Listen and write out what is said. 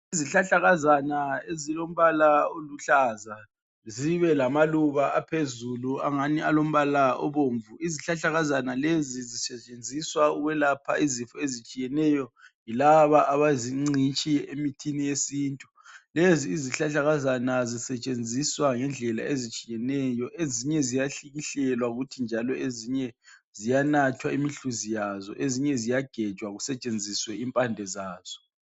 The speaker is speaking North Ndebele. Izihlahlakazana ezilombala oluhlaza zibe lamaluba aphezulu angani alombala obomvu. Izihlahlakazana lezi zisetshenziswa ukwelapha izifo ezitshiyeneyo yilaba abazingcitshi emithini yesintu. Lezi izihlahlakazana zisetshenziswa ngendlela ezitshiyeneyo ezinye ziyahlikihlelwa kuthi njalo ezinye ziyanathwa imihluzi yazo ezinye ziyagejwa kusetshenziswe impande zaso.